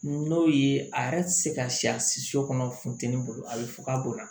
N'o ye a yɛrɛ ti se ka siya si so kɔnɔ funtɛni bolo a be fɔ ka bonya